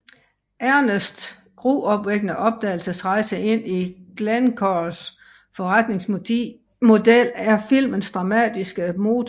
Ernests gruopvækkende opdagelsesrejse ind i Glencores forretningsmodel er filmens dramatiske motor